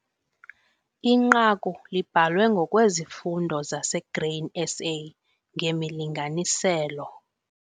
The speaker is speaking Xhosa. Inqaku libhalwe ngokweziFundo zaseGrain SA ngemilinganiselo.